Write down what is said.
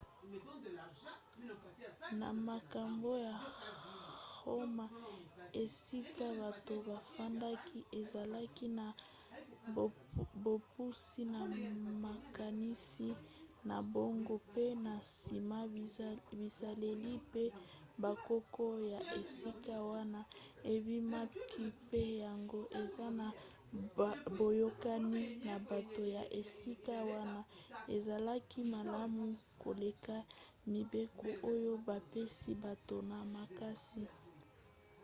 na makambo ya roma esika bato bafandaki ezalaki na bopusi na makanisi na bango mpe na nsima bizaleli mpe bokoko ya esika wana ebimaki mpe yango eza na boyokani na bato ya esika wana ezalaki malamu koleka mibeko oyo bapesi bato na makasi